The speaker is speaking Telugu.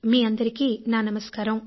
మీ అందరికీ నా నమస్కారం